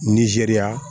Nizeriya